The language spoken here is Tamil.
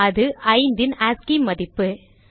அது 5 ன் ஆஸ்சி மதிப்பு